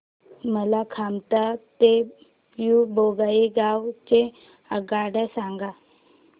मला कामाख्या ते न्यू बोंगाईगाव च्या आगगाड्या सांगा